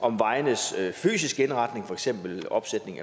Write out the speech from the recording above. om vejenes fysiske indretning for eksempel opsætning af